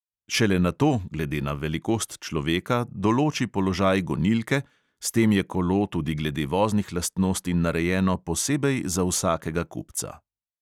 Šele nato, glede na velikost človeka, določi položaj gonilke, s tem je kolo tudi glede voznih lastnosti narejeno posebej za vsakega kupca.